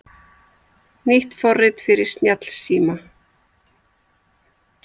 Nýtt forrit fyrir snjallsíma